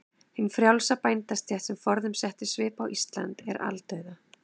Hin frjálsa bændastétt, sem forðum setti svip á Ísland, er aldauða.